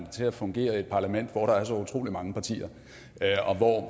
til at fungere i et parlament hvor der er så utrolig mange partier og hvor